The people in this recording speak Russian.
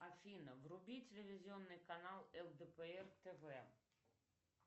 афина вруби телевизионный канал лдпр тв